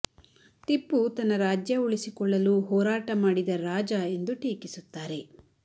ಟಿಪ್ಪು ತನ್ನ ರಾಜ್ಯ ಉಳಿಸಿಕೊಳ್ಳಲು ಹೋರಾಟ ಮಾಡಿದ ರಾಜ ಎಂದು ಟೀಕಿಸುತ್ತಾರೆ